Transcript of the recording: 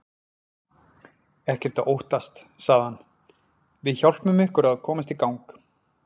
Ekkert að óttast sagði hann, við hjálpum ykkur að komast í gang.